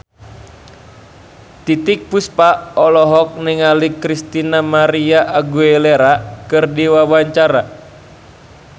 Titiek Puspa olohok ningali Christina María Aguilera keur diwawancara